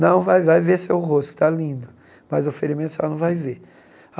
Não vai, vai ver seu rosto, tá lindo, mas o ferimento a senhora não vai ver.